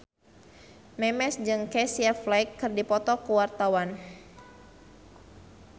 Memes jeung Casey Affleck keur dipoto ku wartawan